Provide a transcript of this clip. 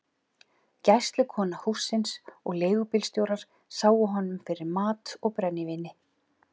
Gæslukona hússins og leigubílstjórar sáu honum fyrir mat og brennivíni.